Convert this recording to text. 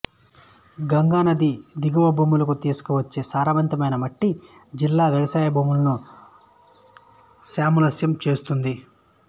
గంగానది దిగువభూములకు తీసుకువచ్చే సారవంతమైన మట్టి జిల్లా వ్యవసాయ భూములను సశ్యశ్యామలం చేస్తుంది